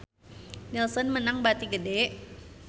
Nielsen meunang bati gede